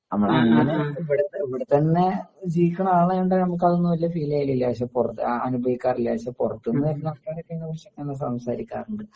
നമ്മളങ്ങനൊക്കെ ഇവടത്തെ ഇവടത്തന്നെ ജീവിക്കണ ആളായോണ്ട് നമക്കതൊന്നും വല്ല്യ ഫീലെയ്യലില്ല പക്ഷേ പുറത്ത അനുഭവിക്കാറില്ല പക്ഷേ പുറത്തുന്നു വരുന്ന ആൾക്കാരൊക്കെ ഇയിനെക്കുറിച്ചൊക്കെ സംസാരിക്കാറുണ്ട്.